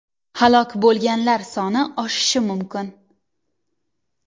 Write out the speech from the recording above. Halok bo‘lganlar soni oshishi mumkin.